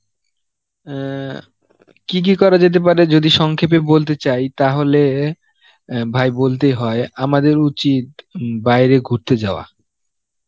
অ্যাঁ কী কী করা যেতে পারে যদি সংক্ষেপে বলতে চাই তাহলে অ্যাঁ ভাই বলতেই হয় আমাদের উচিত উম বাইরে ঘুরতে যাওয়া